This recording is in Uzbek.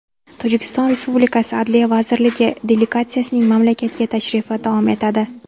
Tojikiston Respublikasi Adliya vazirligi delegatsiyasining mamlakatga tashrifi davom etadi.